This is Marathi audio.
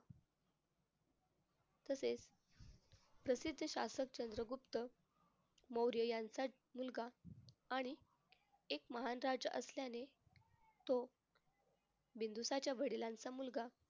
तसेच प्रसिद्ध शासक चंद्रगुप्त मौर्य यांचा मुलगा आणि एक महान राजा असल्याने तो बिंदुसाच्या वडिलांचा मुलगा